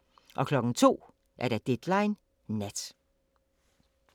02:00: Deadline Nat